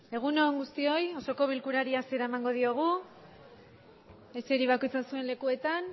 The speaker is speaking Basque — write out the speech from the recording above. egun on guztioi osoko bilkurari hasiera emango diogu eseri bakoitza zuen lekuetan